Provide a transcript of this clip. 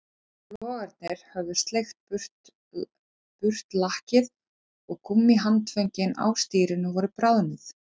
Logarnir höfðu sleikt burt lakkið og gúmmíhandföngin á stýrinu voru bráðnuð